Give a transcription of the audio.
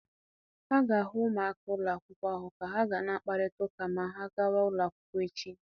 A ga-ahụ ụmụaka ụlọ akwụkwọ ahụ ka ha ga na-akparịta ụka maa ha gàwá ụlọ akwụkwọ echi.